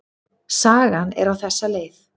Sagan er á þessa leið: